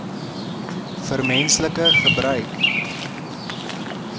vir menslike gebruik